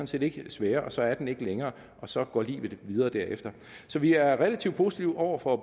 set ikke sværere og så er den ikke længere og så går livet videre derefter så vi er relativt positive over for